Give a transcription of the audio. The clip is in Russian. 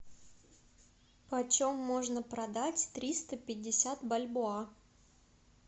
по чем можно продать триста пятьдесят бальбоа